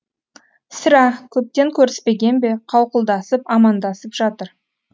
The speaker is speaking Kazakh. сірә көптен көріспеген бе қауқылдасып амандасып жатыр